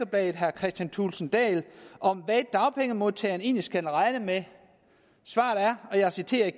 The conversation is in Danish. bladet herre kristian thulesen dahl om hvad dagpengemodtagerne egentlig skal regne med og jeg citerer